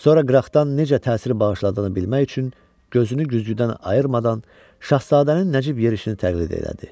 Sonra qıraqdan necə təsir bağışladığını bilmək üçün gözünü güzgüdən ayırmadan şahzadənin nəcib yerşini təqlid elədi.